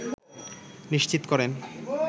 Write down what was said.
নিশ্চিত করেন